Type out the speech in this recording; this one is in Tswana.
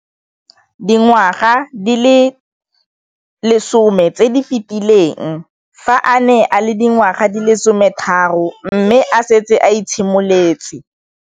Dingwaga di le 10 tse di fetileng, fa a ne a le dingwaga di le 23 mme a setse a itshimoletse